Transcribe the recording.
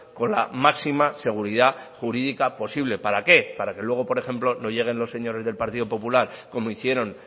con la máxima seguridad jurídica posible para qué para que luego por ejemplo no lleguen los señores del partido popular como hicieron